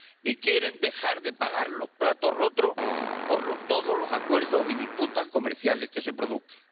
Y quieren dejar de pagar los platos rotos por todos los acuerdos y disputas comerciales que se produzcan.